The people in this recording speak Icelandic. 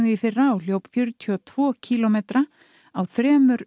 í fyrra og hljóp fjörutíu og tveggja kílómetra á þremur